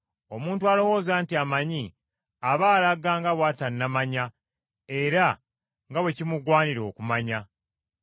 Omuntu alowooza nti amanyi, aba alaga nga bw’atannamanya era nga bwe kimugwanira okumanya.